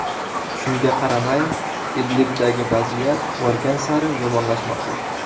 Shunga qaramay, Idlibdagi vaziyat borgan sari yomonlashmoqda.